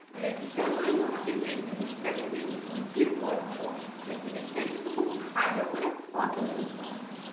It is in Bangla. register করে তোমাকে যে জিনিস টা তুমি বিক্রি করছো সে জিনিসটার কিন্তু খুব ভালো করে photo তুলতে হবে